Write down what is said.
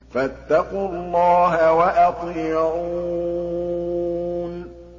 فَاتَّقُوا اللَّهَ وَأَطِيعُونِ